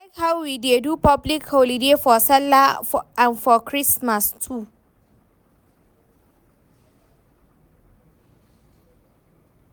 I like how we dey do public holiday for sallah and for christmas too